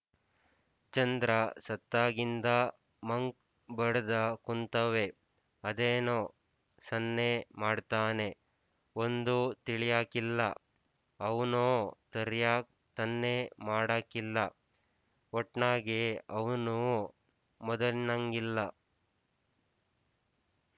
ಚಂದ್ರ ಸತ್ತಾಗಿಂದ ಮಂಕ್ ಬಡ್ದ್ ಕುಂತವ್ನೆ ಅದೇನೊ ಸನ್ನೆ ಮಾಡ್ತಾನೆ ಒಂದು ತಿಳ್ಯಾಕಿಲ್ಲ ಅವ್ನೂ ಸರ್ಯಾಗ್ ಸನ್ನೆ ಮಾಡಾಕಿಲ್ಲ ಒಟ್ನಾಗೆ ಅವ್ನು ಮದಲ್‍ನಂಗಿಲ್ಲ